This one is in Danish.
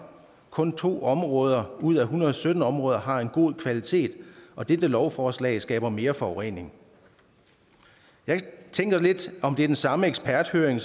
kun to områder ud af en hundrede og sytten områder har en god kvalitet og dette lovforslag skaber mere forurening jeg tænker lidt om det er den samme eksperthøring